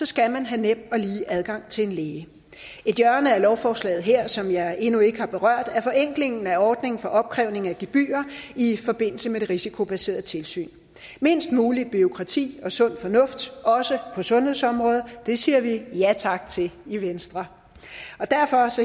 skal man have nem og lige adgang til en læge et hjørne af lovforslaget her som jeg endnu ikke har berørt er forenklingen af ordningen for opkrævning af gebyrer i forbindelse med det risikobaserede tilsyn mindst muligt bureaukrati og sund fornuft også på sundhedsområdet siger vi ja tak til i venstre og derfor